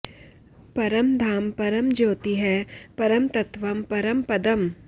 परं धाम परं ज्योतिः परं तत्त्वं परं पदम्